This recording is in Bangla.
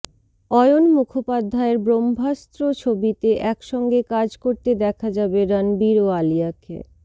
অয়ন মুখোপাধ্যায়ের ব্রহ্মাস্ত্র ছবিতে একসঙ্গে কাজ করতে দেখা যাবে রণবীর ও আলিয়াকে